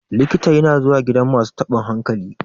likita yana zuwa gidan masu tabin hankali